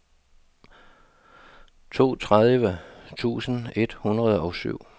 toogtredive tusind et hundrede og syv